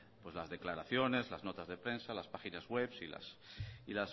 las declaraciones las notas de prensa las páginas webs y